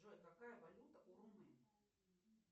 джой какая валюта у румын